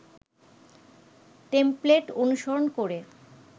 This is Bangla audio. টেমপ্লেট অনুসরণ করে